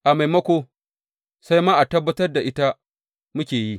A maimako, sai ma tabbatar da ita muke yi.